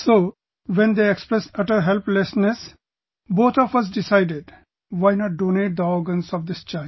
So when they expressed utter helplessness, both of us decided... why not donate the organs of this child